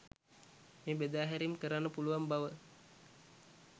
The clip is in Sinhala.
මේ බෙදා හැරීම් කරන්න පුළුවන් බව.